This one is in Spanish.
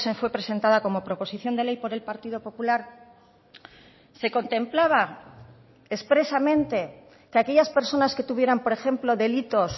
fue presentada como proposición de ley por el partido popular se contemplaba expresamente que aquellas personas que tuvieran por ejemplo delitos